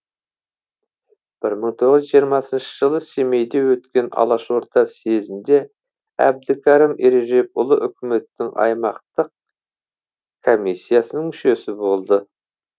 бір мың тоғыз жүз жиырмасыншы жылы семейде өткен алашорда съезінде әбдікрәім ережепұлы үкіметтің аймақтық комиссиясыныңмүшесі болды